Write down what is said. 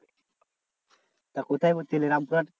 তা কোথায় ভর্তি হোলি রামপুরহাট